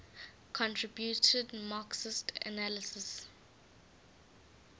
contributed marxist analyses